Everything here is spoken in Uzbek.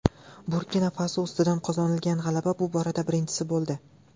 Burkina-Faso ustidan qozonilgan g‘alaba bu borada birinchisi bo‘ldi.